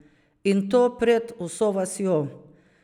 In to pred vso vasjo!